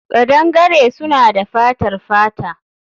Kadangare suna da fatar fata